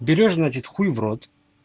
берёшь значит хуй в рот